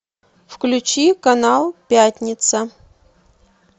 включи канал пятница